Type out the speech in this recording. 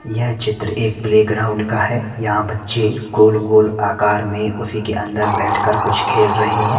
यह चित्र एक प्लेग्राउंड का है यहां बच्चे गोल गोल आकार में उसी के अंदर बैठकर कुछ खेल रहे हैं।